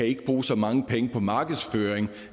ikke bruge så mange penge på markedsføring